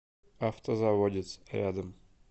автозаводец рядом